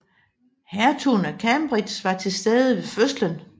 Hertugen af Cambridge var til stede ved fødslen